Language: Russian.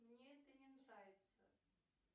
мне это не нравится